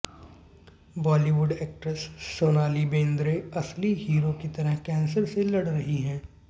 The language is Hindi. बॉलीवुड एक्ट्रेस सोनाली बेंद्रे असली हीरो की तरह कैंसर से लड़ रही हैं